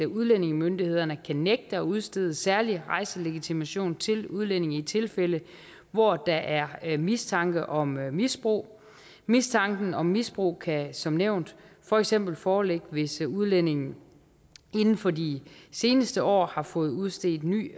udlændingemyndighederne kan nægte at udstede særlig rejselegitimation til udlændinge i tilfælde hvor der er er mistanke om misbrug mistanken om misbrug kan som nævnt for eksempel foreligge hvis udlændingen inden for de seneste år har fået udstedt ny